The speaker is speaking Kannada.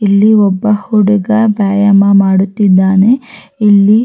ಇಲ್ಲಿ ಒಬ್ಬ ಹುಡುಗ ವ್ಯಾಯಾಮ ಮಾಡುತ್ತಿದ್ದಾನೆ ಇಲ್ಲಿ.